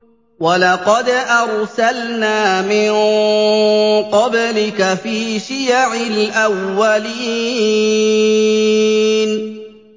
وَلَقَدْ أَرْسَلْنَا مِن قَبْلِكَ فِي شِيَعِ الْأَوَّلِينَ